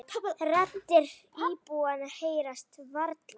Raddir íbúanna heyrast varla.